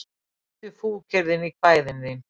Geymdu fúkyrðin í kvæðin þín